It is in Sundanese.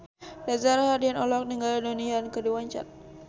Reza Rahardian olohok ningali Donnie Yan keur diwawancara